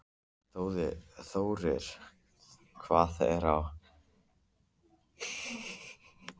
Þórinn, hvað er á áætluninni minni í dag?